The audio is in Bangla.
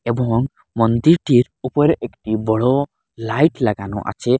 এবং মন্দিরটির ওপর একটি বড়ো লাইট লাগানো আচে।